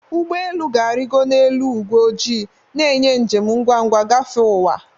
Ụgbọ elu ga-arịgo n'elu ígwé ojii, na-enye njem ngwa ngwa gafee ụwa.